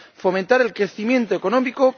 fomentar el crecimiento económico